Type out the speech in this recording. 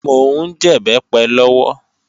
Mò ń jẹ̀bẹ́pẹ lọ́wọ́